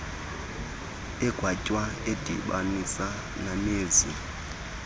agwetywe edibanisa nomenzi